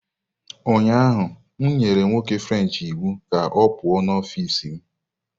Ụnyahụ m nyere nwoke french iwu ka ọ pụọ n'ọfịs m